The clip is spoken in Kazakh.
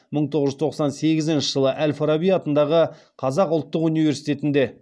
мың тоғыз жүз тоқсан сегізінші жылы әл фараби атындағы қазақ ұлттық университетінде